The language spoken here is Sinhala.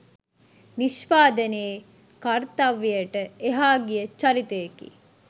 නිෂ්පාදනයේ කර්තව්‍යයට එහා ගිය චරිතයකි